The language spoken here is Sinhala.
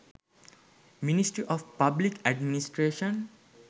ministry of public administration